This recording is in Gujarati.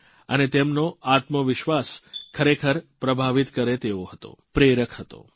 અને તેમનો આત્મવિશ્વાસ ખરેખર પ્રભાવિત કરે તેવો હતો પ્રેરક હતો